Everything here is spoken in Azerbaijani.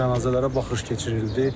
Cənazələrə baxış keçirildi.